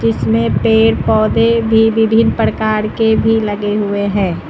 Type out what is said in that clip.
इसमें पेड़ पौधे भी विभिन्न प्रकार के भी लगे हुए है।